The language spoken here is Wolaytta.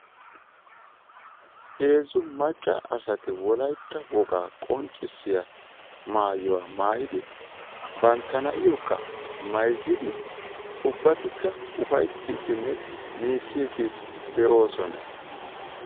Heezzu macca asati wolaytta wogaa qonccissiya maayuwaa maayidi bantta na'iyokka mayzzidi ubbatikka ufayttiiddinne miicciiddi de'oosona.